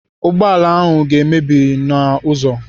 Ụgbọala ahụ ga-emebi n'ụzọ.